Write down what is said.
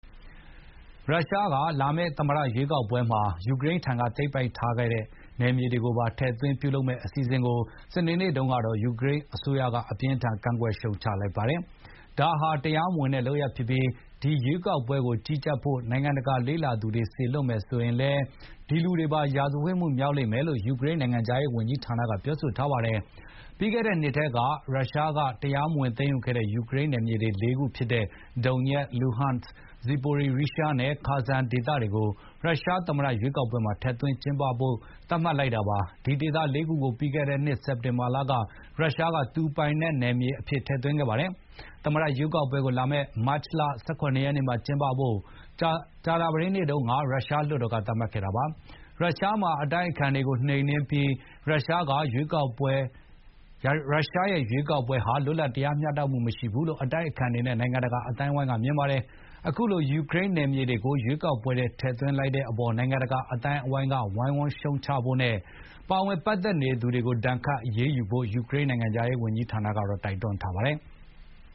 ရုရှားက လာမယ့် သမ္မတရွေးကောက်ပွဲမှာ ယူကရိန်းထံက သိမ်းပိုက်ထားတဲ့ နယ်မြေတွေကိုပါ ထည့်သွင်းပြုလုပ်မယ့်အစီ စဉ်ကို ယူကရိန်းအစိုးရက စနေနေ့မှာ အပြင်းအထန် ကန့်ကွက်ရှုံချလိုက်ပါတယ်။ ဒါဟာ တရားမဝင်တဲ့ လုပ်ရပ်ဖြစ်ပြီး၊ ဒီရွေးကောက်ပွဲကို ကြီးကြပ်ဖို့ နိုင်ငံတကာ လေ့လာသူတွေ စေလွှတ်မယ်ဆိုရင်လည်း ရာဇဝတ်မှုမြောက်လိမ့်မယ်လို့ ယူကရိန်း နိုင်ငံခြားရေးဝန်ကြီးဌာနက ပြောပါတယ်။ ပြီးခဲ့တဲ့နှစ်ထဲ ရုရှားက တရားမဝင် သိမ်းယူခဲ့တဲ့ ယူကရိန်းနယ်မြေ ၄ ခုဖြစ်တဲ့ ဒုန်ညက်၊ လူဟန့်၊ ဇီပိုရီရီးရှားနဲ့ ခါဆန်ဒေသတွေကို ရုရှားသမ္မတ ရွေးကောက်ပွဲမှာ ထည့်သွင်း ကျင်းပဖို့ သတ်မှတ်လိုက်တာပါ။ ဒီဒေသ ၄ ခုကို ပြီးခဲ့တဲ့နှစ် စက်တင်ဘာလက ရုရှားက သူ့ပိုင်နက်အဖြစ် ထည့်သွင်းခဲ့ပါတယ်။ သမ္မတရွေးကောက်ပွဲကို လာမယ့် မတ်လ ၁၇ ရက်နေ့မှာ ကျင်းပဖို့ ကြာသပတေးနေ့တုန်းက ရုရှားလွှတ်တော်က သတ်မှတ်ခဲ့တာပါ။ ရုရှားမှာ အတိုက်အခံတွေကို နှိမ်နင်းထားပြီး ရုရှားက ရွေးကောက်ပွဲဟာ လွတ်လပ် တရားမျှတမှု မရှိဘူးလို့ အတိုက်အခံတွေနဲ့ နိုင်ငံတကာ အသိုင်းအဝိုင်းက မြင်ပါတယ်။ အခုလို ယူကရိန်းနယ်မြေတွေကို ရွေးကောက်ပွဲထဲ ထည့်သွင်းတဲ့အပေါ် နိုင်ငံတကာ အသိုင်းအဝိုင်းက ဝိုင်းဝန်းရှုံချကြဖို့နဲ့ ပါဝင်ပတ်သက်သူတွေကို ဒဏ်ခတ် အရေးယူဖို့ ယူကရိန်း နိုင်ငံခြားရေးဝန်ကြီးဌာနက တိုက်တွန်းထားပါတယ်။